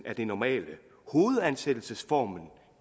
er det normale hovedansættelsesformen